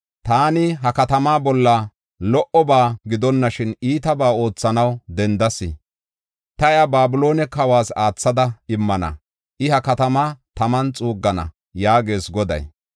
Taani ha katamaa bolla lo77oba gidonashin iitabaa oothanaw dendas. Ta iya Babiloone kawas aathada immana; I ha katamaa taman xuuggana” yaagees Goday.